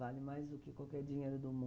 Vale mais do que qualquer dinheiro do